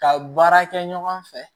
Ka baara kɛ ɲɔgɔn fɛ